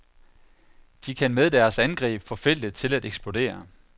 De kan med deres angreb få feltet til at eksplodere.